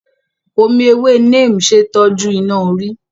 Omi ewé Neem ṣe é tọ́jú iná-orí.